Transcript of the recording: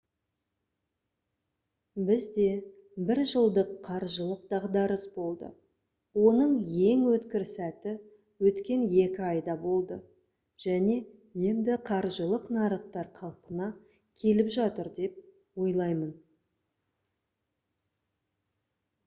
бізде бір жылдық қаржылық дағдарыс болды оның ең өткір сәті өткен екі айда болды және енді қаржылық нарықтар қалпына келіп жатыр деп ойлаймын»